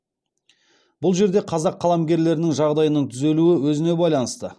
бұл жерде қазақ қаламгерлерінің жағдайының түзелуі өзіне байланысты